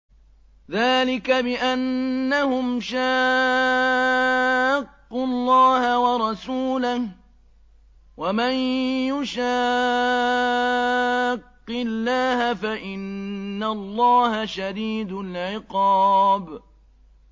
ذَٰلِكَ بِأَنَّهُمْ شَاقُّوا اللَّهَ وَرَسُولَهُ ۖ وَمَن يُشَاقِّ اللَّهَ فَإِنَّ اللَّهَ شَدِيدُ الْعِقَابِ